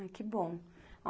Ai, que bom.